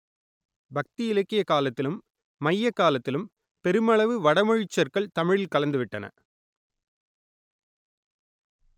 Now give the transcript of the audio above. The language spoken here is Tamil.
பக்தி இலக்கிய காலத்திலும் மையக் காலத்திலும் பெருமளவு வடமொழிச் சொற்கள் தமிழில் கலந்துவிட்டன